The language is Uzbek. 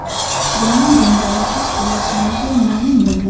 bilan janjallashib kelayotganligi ma’lum bo‘lgan.